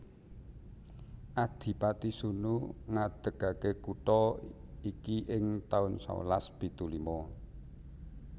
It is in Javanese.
Adipati Sunu ngadegake kutha iki ing taun sewelas pitu lima